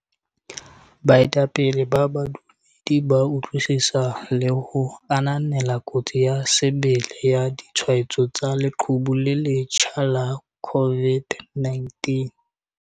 Baetapele ba badumedi ba utlwisisa le ho ananela kotsi ya sebele ya ditshwaetso tsa leqhubu le le letjha la COVID-19.